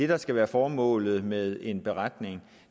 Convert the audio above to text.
der skal være formålet med en beretning